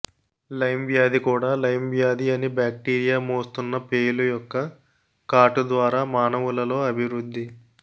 lime వ్యాధి కూడా Lyme వ్యాధి అని బాక్టీరియా మోస్తున్న పేలు యొక్క కాటు ద్వారా మానవులలో అభివృద్ధి